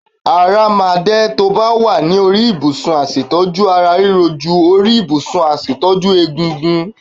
Ara máa dẹ̀ ẹ́ tó ba wà ní orí ìbùsùn aṣètọ́jú ara riro jú orí ìbùsùn aṣàtúntò ègungun.